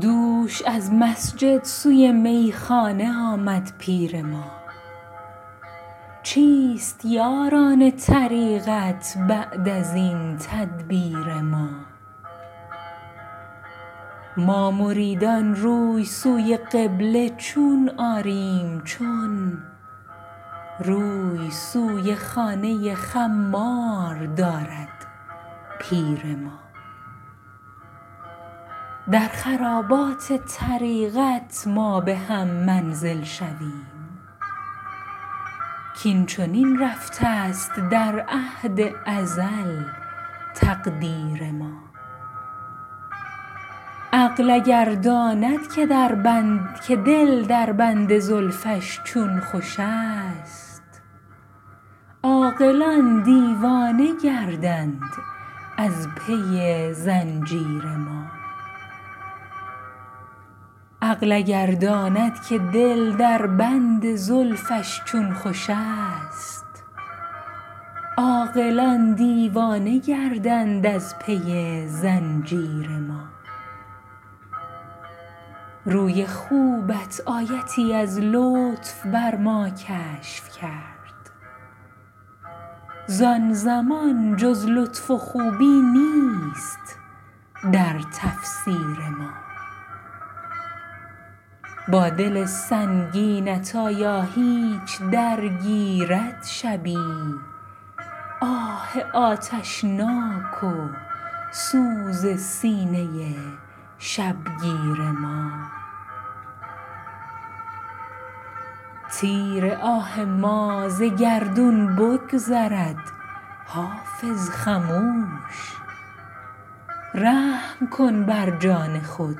دوش از مسجد سوی میخانه آمد پیر ما چیست یاران طریقت بعد از این تدبیر ما ما مریدان روی سوی قبله چون آریم چون روی سوی خانه خمار دارد پیر ما در خرابات طریقت ما به هم منزل شویم کاین چنین رفته است در عهد ازل تقدیر ما عقل اگر داند که دل در بند زلفش چون خوش است عاقلان دیوانه گردند از پی زنجیر ما روی خوبت آیتی از لطف بر ما کشف کرد زان زمان جز لطف و خوبی نیست در تفسیر ما با دل سنگینت آیا هیچ درگیرد شبی آه آتشناک و سوز سینه شبگیر ما تیر آه ما ز گردون بگذرد حافظ خموش رحم کن بر جان خود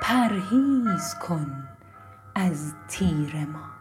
پرهیز کن از تیر ما